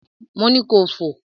Mo ni kò fò!